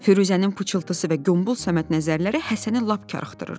Firuzənin pıçıltısı və qombal Səməd nəzərləri Həsəni lap karıxdırırdı.